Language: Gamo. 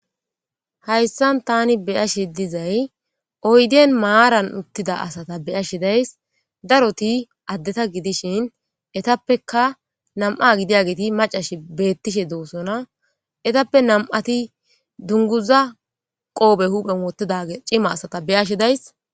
Haysan ta be'ashshe dizzay oyidiyan mara uththida asata be'ashsha de'ayis darotti addeththa giddishshen isttappekka nam'a giddiyagetti mac'aya betteshe de'osona izappe nam'ati dunguza qope huppen woththizza c'ima asata be'ashsha de'ayis.